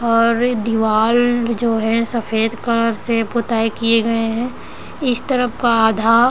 और दीवल जो है सफेद कलर से पोताई किये गए है इस तरफ का आधा--